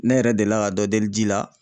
Ne yɛrɛ delila ka dɔ deli ji la